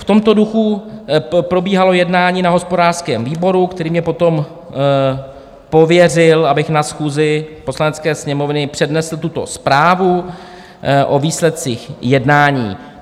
V tomto duchu probíhalo jednání na hospodářském výboru, který mě potom pověřil, abych na schůzi Poslanecké sněmovny přednesl tuto zprávu o výsledcích jednání.